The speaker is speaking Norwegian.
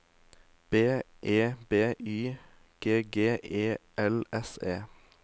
B E B Y G G E L S E